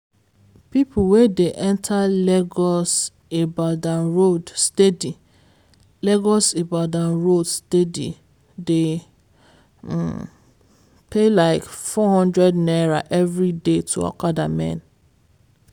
people wey dey enter lagos-ibadan road steady lagos-ibadan road steady dey pay like four hundred naira every day to okada men.